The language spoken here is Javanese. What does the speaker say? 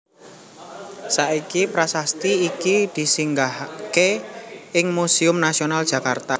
Saiki prasasti iki disinggahaké ing Museum Nasional Jakarta